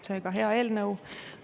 Seega, hea eelnõu.